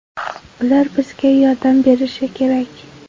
Ular bizga yordam berishi kerak”.